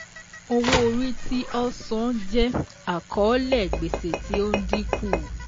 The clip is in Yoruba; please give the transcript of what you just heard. Owó-orí tí ọ́ sàn jẹ́ àkọ́ọ́lẹ̀ gbèsè tí ó ń dínkù.